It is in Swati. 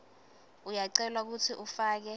uyacelwa kutsi ufake